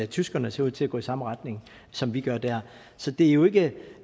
tyskerne ser ud til at gå i samme retning som vi gør der så det er jo ikke